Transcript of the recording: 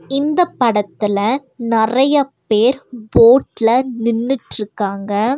இந்தப் படத்தில நறைய பேர் போட்ல நின்னிட்ருக்காங்க.